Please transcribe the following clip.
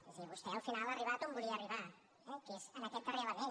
és a dir vostè al final ha arribat on volia arribar eh que és a aquest darrer element